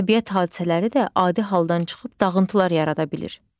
Təbiət hadisələri də adi haldan çıxıb dağıntılar yarada bilər.